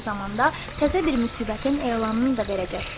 Eyni zamanda təzə bir müsibətin elanını da verəcəkdir.